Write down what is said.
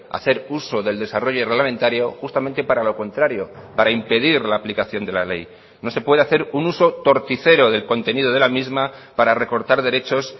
hacer uso del desarrollo reglamentario justamente para lo contrario para impedir la aplicación de la ley no se puede hacer un uso torticero del contenido de la misma para recortar derechos